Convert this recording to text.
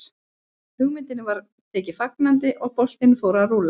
Hugmyndinni var tekið fagnandi og boltinn fór að rúlla.